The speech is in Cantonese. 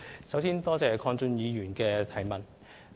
首先多謝鄺俊宇議員的補充質詢。